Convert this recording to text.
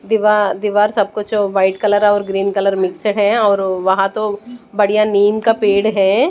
दीवा दीवार सब कुछ व्हाइट कलर और ग्रीन कलर मिक्स है और वहां तो बढ़िया नीम का पेड़ है।